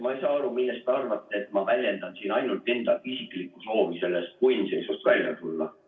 Ma ei saa aru, miks te arvate, et ma väljendan siin ainult enda isiklikku soovi sellest punnseisust välja tulla.